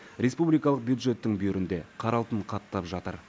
республикалық бюджеттің бүйірінде қара алтын қаттап жатыр